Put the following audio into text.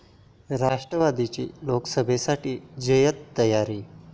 राष्ट्रवादीची लोकसभेसाठी जय्यत तयारी!